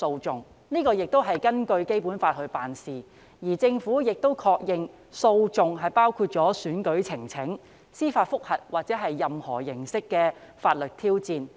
這亦是根據《基本法》辦事，而政府亦確認訴訟包括選舉呈請、司法覆核或任何形式的法律挑戰。